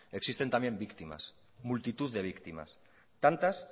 existen también víctimas multitud de víctimas tantas